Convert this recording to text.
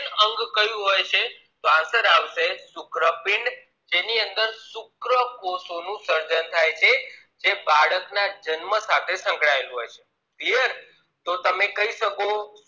અંગ કયું હોય છે તો answser આવશે શુક્રપીંડ જેની અંદર શુક્રકોષોનું સર્જન થાય છે ને બાળક ના જન્મ સાથે શક્લાયેલું હોય છે બરાબર તો તમે કહી શકો